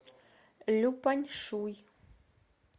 люпаньшуй